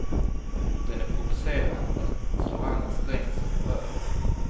Den är provocerande, slår an en sträng som berör.